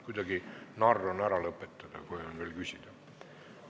Kuidagi narr on ära lõpetada, kui on veel küsimusi.